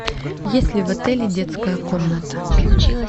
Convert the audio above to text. есть ли в отеле детская комната